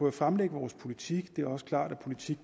at fremlægge vores politik og det er også klart at politik